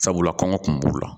Sabula kɔngɔ kun b'u la